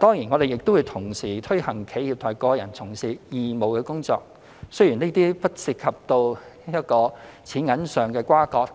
當然，我們亦同時推動企業及個人從事義務工作，雖然這些不涉及金錢上的關係